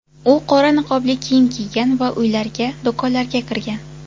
U qora niqobli kiyim kiygan va uylarga, do‘konlarga kirgan.